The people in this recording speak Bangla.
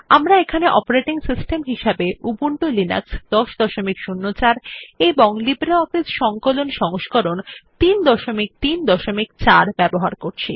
আমরা এখানে অপেরাটিং সিস্টেম হিসাবে উবুন্টু লিনাক্স ১০০৪ এবং লিব্রিঅফিস সংকলন সংস্করণ ৩৩৪ ব্যবহার করছি